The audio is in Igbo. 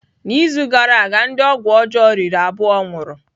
N'izu gara aga, ndị ọgwụ ọjọọ riri abụọ nwụrụ.